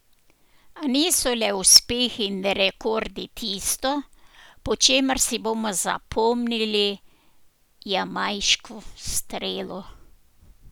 A niso le uspehi in rekordi tisto, po čemer si bomo zapomnili jamajško strelo.